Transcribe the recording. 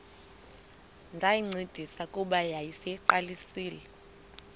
ndayincedisa kuba yayiseyiqalisile